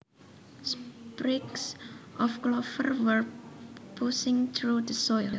Sprigs of clover were pushing through the soil